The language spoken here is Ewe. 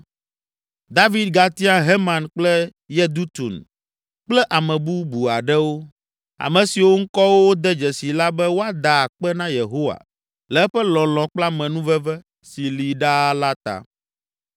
David gatia Heman kple Yedutun kple ame bubu aɖewo, ame siwo ŋkɔwo wode dzesi la be woada akpe na Yehowa le eƒe lɔlɔ̃ kple amenuveve si li ɖaa la ta.